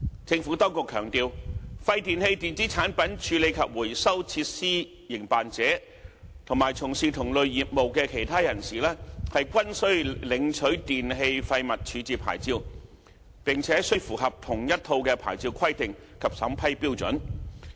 政府當局強調，廢電器電子產品處理及回收設施營辦者，以及從事同類業務的其他人士均須領取電器廢物處置牌照，並須符合同一套牌照規定及審批標準。